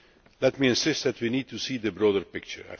Let me insist that we need to see the broader picture.